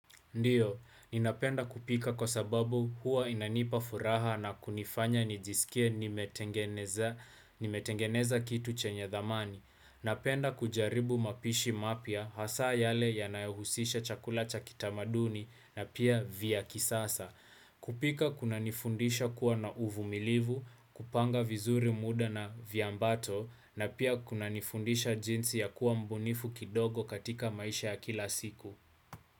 Ndiyo, ninapenda kupika kwa sababu huwa inanipa furaha na kunifanya nijisikie nimetengeneza kitu chenye dhamani. Napenda kujaribu mapishi mapya hasa yale yanayohusisha chakula cha kitamaduni na pia vya kisasa. Kupika kunanifundisha kuwa na uvumilivu, kupanga vizuri muda na viambato na pia kunanifundisha jinsi ya kuwa mbunifu kidogo katika maisha ya kila siku.